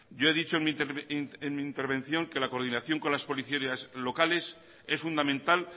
yo he dicho en mi intervención que la coordinación con las policías locales es fundamental